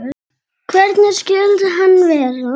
Hvernig skyldi hann vera?